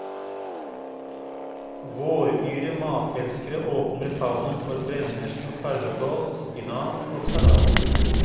Våryre matelskere åpner favnen for brennesle og karvekål, spinat og salat.